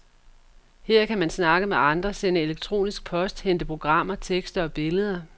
Her kan man snakke med andre, sende elektronisk post, hente programmer, tekster og billeder.